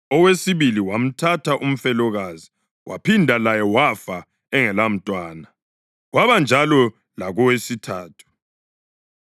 Owesibili wamthatha umfelokazi waphinda laye wafa engelamntwana. Kwabanjalo lakowesithathu.